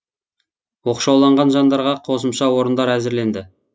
оқшауланған жандарға қосымша орындар әзірленді